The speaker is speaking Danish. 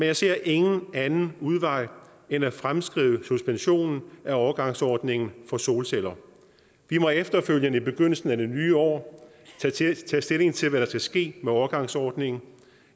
jeg ser ingen anden udvej end at fremskrive suspensionen af overgangsordningen for solceller vi må efterfølgende i begyndelsen af det nye år tage stilling til hvad der skal ske med overgangsordningen